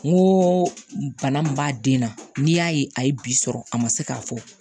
N ko bana min b'a den na n'i y'a ye a ye bi sɔrɔ a ma se k'a fɔ